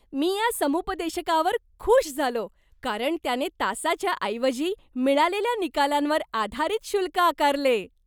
मी या समुपदेशकावर खूश झालो कारण त्याने तासाच्या ऐवजी, मिळालेल्या निकालांवर आधारित शुल्क आकारले.